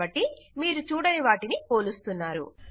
కాబట్టి మీరు చూడని వాటిని పోలుస్తున్నారు